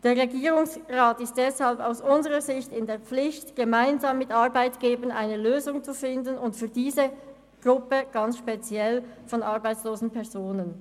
Aus unserer Sicht ist der Regierungsrat deshalb in der Pflicht, gemeinsam mit Arbeitgebern eine Lösung zu finden, insbesondere für diese Gruppe von arbeitslosen Personen.